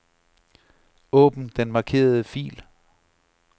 Åbn den markerede fil.